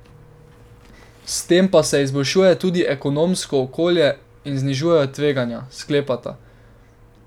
S tem pa se izboljšuje tudi ekonomsko okolje in znižujejo tveganja, sklepata.